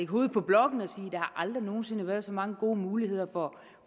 hovedet på blokken og sige aldrig nogen sinde har været så mange gode muligheder for